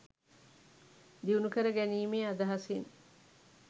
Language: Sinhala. දියුණු කරගැනීමේ අදහසින්